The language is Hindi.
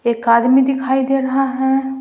एक आदमी दिखाई दे रहा है।